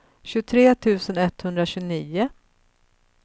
tjugotre tusen etthundratjugonio